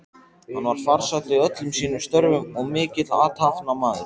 Hann var farsæll í öllum sínum störfum og mikill athafnamaður.